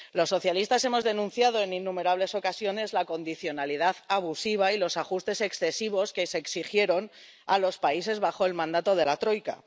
Los socialistas hemos denunciado en innumerables ocasiones la condicionalidad abusiva y los ajustes excesivos que se exigieron a los países bajo el mandato de la troika.